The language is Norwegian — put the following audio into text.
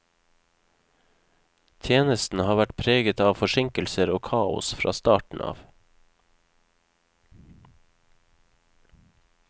Tjenesten har vært preget av forsinkelser og kaos fra starten av.